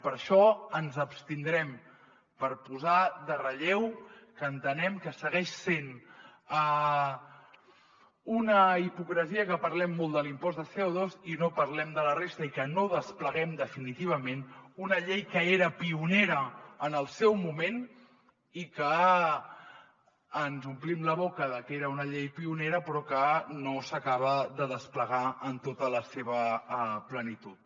per això ens abstindrem per posar en relleu que entenem que segueix sent una hipocresia que parlem molt de l’impost de codespleguem definitivament una llei que era pionera en el seu moment i que ens omplim la boca de que era una llei pionera però que no s’acaba de desplegar en tota la seva plenitud